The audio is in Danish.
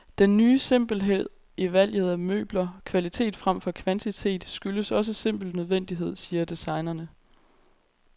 Den ny simpelhed i valget af møbler, kvalitet fremfor kvantitet, skyldes også simpel nødvendighed, siger designerne.